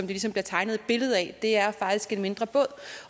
ligesom bliver tegnet et billede af det er faktisk en mindre båd